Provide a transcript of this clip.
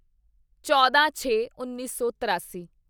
ਚੌਦਾਂਛੇਉੱਨੀ ਸੌ ਤਰਾਸੀ